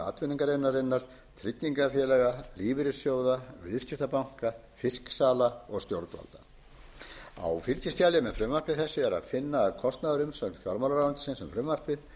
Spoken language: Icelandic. atvinnugreinarinnar tryggingafélaga lífeyrissjóða viðskiptabanka fisksala og stjórnvalda á fylgiskjali með frumvarpi þessu er að finna kostnaðarumsögn fjármálaráðuneytisins um frumvarpið